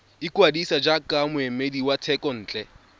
ikwadisa jaaka moemedi wa thekontle